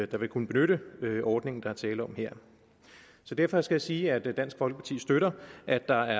der vil kunne benytte den ordning der er tale om her derfor skal jeg sige at dansk folkeparti støtter at der